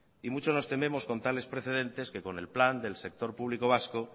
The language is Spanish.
y mucho nos tememos con tales precedentes que con el plan del sector público vasco